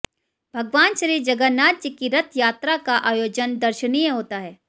भगवान श्री जगन्नाथ जी की रथयात्रा का आयोजन दर्शनीय होता है